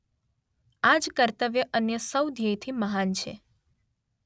આજ કર્તવ્ય અન્ય સૌ ધ્યેયથી મહાન છે.